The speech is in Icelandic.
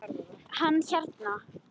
Hann hérna.